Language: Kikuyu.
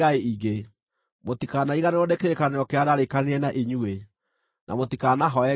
Mũtikariganĩrwo nĩ kĩrĩkanĩro kĩrĩa ndaarĩkanĩire na inyuĩ, na mũtikanahooe ngai ingĩ.